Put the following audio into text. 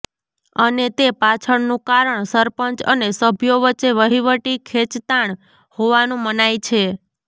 અને તે પાછળનું કારણ સરપંચ અને સભ્યો વચ્ચે વહીવટી ખેંચતાણ હોવાનું મનાય છે